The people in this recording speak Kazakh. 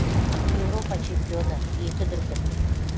еуропа чемпионы екі дүркін